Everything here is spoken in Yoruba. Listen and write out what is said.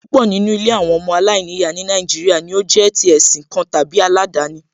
Púpọ̀ nínú àwọn ilé ọmọ aláìníyàá ní Nàìjíríà ni ó jẹ́ tí ẹ̀sìn kan tàbí aládani